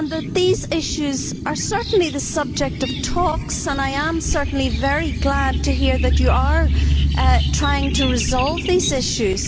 These issues are certainly the subject of talks and I am certainly very glad to hear that you are trying to resolve these issues.